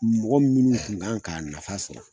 Mɔgɔ minnu kun kan k'a nafa sɔrɔ